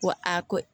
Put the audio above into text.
Wa a ko